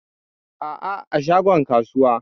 Aa, a shagon kasuwa.